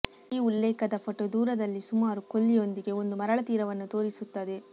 ಈ ಉಲ್ಲೇಖದ ಫೋಟೋ ದೂರದಲ್ಲಿ ಸುಮಾರು ಕೊಲ್ಲಿಯೊಂದಿಗೆ ಒಂದು ಮರಳ ತೀರವನ್ನು ತೋರಿಸುತ್ತದೆ